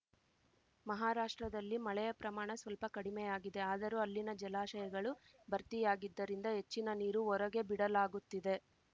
ಮಹಾರಾಷ್ಟ್ರದಲ್ಲಿ ಮಳೆಯ ಪ್ರಮಾಣ ಸ್ವಲ್ಪ ಕಡಿಮೆಯಾಗಿದೆ ಆದರೂ ಅಲ್ಲಿನ ಜಲಾಶಗಳು ಭರ್ತಿಯಾಗಿದ್ದರಿಂದ ಹೆಚ್ಚಿನ ನೀರು ಹೊರಗೆ ಬಿಡಲಾಗುತ್ತಿದೆ